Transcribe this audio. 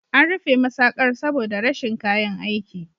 An rufe masaƙar saboda rashin kayan aiki.